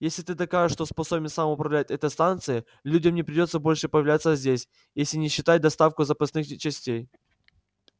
если ты докажешь что способен сам управлять этой станцией людям не придётся больше появляться здесь если не считать доставку запасных частей